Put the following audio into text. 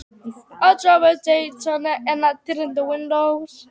Lillý Valgerður Pétursdóttir: Hvað eigið þið von á mörgum í sumar?